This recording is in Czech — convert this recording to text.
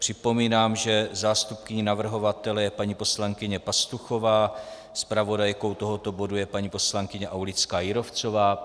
Připomínám, že zástupkyní navrhovatele je paní poslankyně Pastuchová, zpravodajkou tohoto bodu je paní poslankyně Aulická Jírovcová.